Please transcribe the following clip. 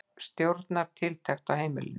Hver stjórnar tiltekt á heimilinu?